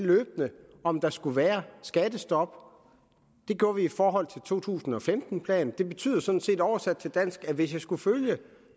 om der skulle være skattestop det gjorde vi i forhold til to tusind og femten planen og det betyder sådan set oversat til dansk at hvis jeg skulle følge